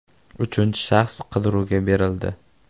Uchinchi shaxs qidiruvga berildi.